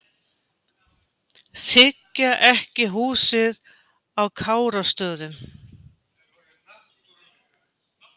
Þiggja ekki húsið á Kárastöðum